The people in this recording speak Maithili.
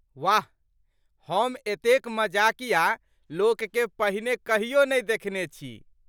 वाह! हम एतेक मजकिया लोककेँ पहिने कहियो नहि देखने छी।